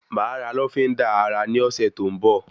Máa ra lọ́fíndà ara ní ọsẹ tó n bọ